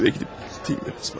Evə gedib dinləməliyəm.